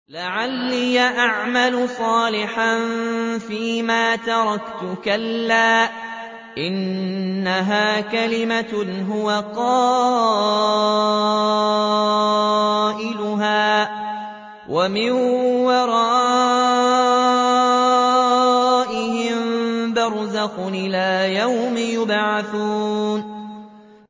لَعَلِّي أَعْمَلُ صَالِحًا فِيمَا تَرَكْتُ ۚ كَلَّا ۚ إِنَّهَا كَلِمَةٌ هُوَ قَائِلُهَا ۖ وَمِن وَرَائِهِم بَرْزَخٌ إِلَىٰ يَوْمِ يُبْعَثُونَ